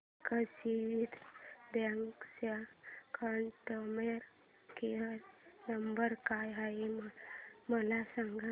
Axis bank चा customer care number काय आहे मला सांगा